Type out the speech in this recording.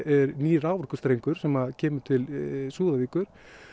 raforkustrengur sem kemur til Súðavíkur